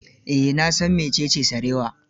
Eh, na san mecece sarewa.